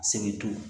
Sebe